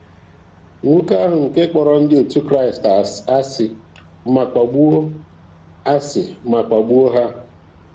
Nwoke ahụ nke kpọrọ ndị otu Kraịst ásị̀ ma kpagbuo ásị̀ ma kpagbuo ha.